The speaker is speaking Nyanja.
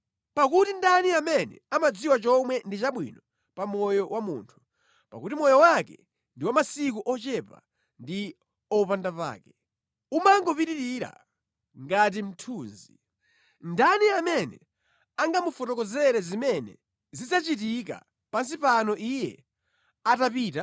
Pakuti ndani amene amadziwa chomwe ndi chabwino pa moyo wa munthu, pakuti moyo wake ndi wa masiku ochepa ndi opandapake, umangopitira ngati mthunzi. Ndani amene angamufotokozere zimene zidzachitika pansi pano iye atapita?